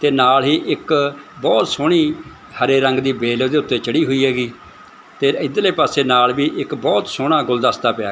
ਤੇ ਨਾਲ ਹੀ ਇੱਕ ਬਹੁਤ ਸੋਹਣੀ ਹਰੇ ਰੰਗ ਦੀ ਬੇਲ ਓਹਦੇ ਉੱਤੇ ਚੜ੍ਹੀ ਹੋਈ ਹੈਗੀ ਤੇ ਇੱਧਰਲੇ ਪਾੱਸੇ ਨਾਲ ਵੀ ਇੱਕ ਬਹੁਤ ਸੋਹਣਾ ਗੁਲਦਸਤਾ ਪਿਆ ਹੈ।